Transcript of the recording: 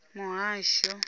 muhasho